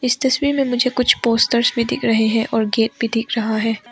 इस तस्वीर में मुझे कुछ पोस्टर्स भी दिख रहे हैं और गेट भी दिख रहा है।